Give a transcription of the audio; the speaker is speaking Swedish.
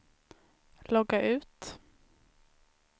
logga ut